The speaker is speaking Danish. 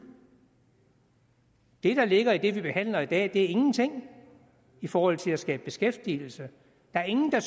det der ligger i det vi behandler i dag er ingenting i forhold til at skabe beskæftigelse der er ingen der